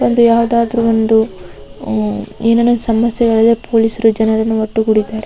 ಒಂದು ಯಾವದಾದ್ರು ಒಂದು ಆಜ್ ಏನೇನೋ ಸಮಸ್ಯೆ ಗಳು ಇದ್ರೆ ಪೊಲೀಸ ಅರು ಜನರನ್ನು ಒಟ್ಟು ಗುಡಿದ್ದಾರೆ.